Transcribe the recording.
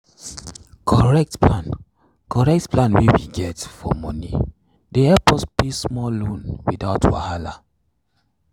correct plan correct plan wey we get for moni dey help us pay small loan without wahala.